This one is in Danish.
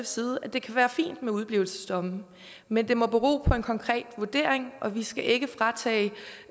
side at det kan være fint med udeblivelsesdomme men det må bero på en konkret vurdering og vi skal ikke fratage